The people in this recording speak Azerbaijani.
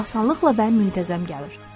Pul asanlıqla və müntəzəm gəlir.